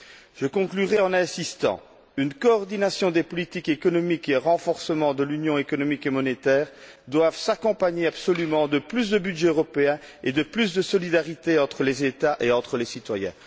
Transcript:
Je conclurais en insistant une coordination des politiques économiques et un renforcement de l'Union économique et monétaire doivent absolument s'accompagner de plus de budget européen et de plus de solidarité entre les États et entre les citoyens.